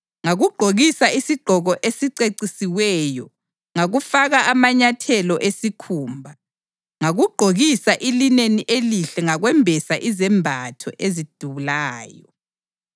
Ngakugqokisa isigqoko esicecisiweyo ngakufaka amanyathelo esikhumba. Ngakugqokisa ilineni elihle ngakwembesa izembatho ezidulayo.